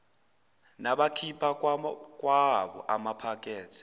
nabakhipha kwawabo amaphakethe